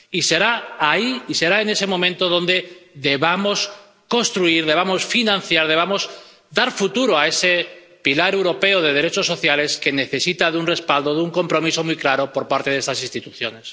Y será ahí, será en ese momento, cuando debamos construir, debamos financiar, debamos dar futuro a ese pilar europeo de derechos sociales que necesita de un respaldo, de un compromiso muy claro por parte de estas instituciones.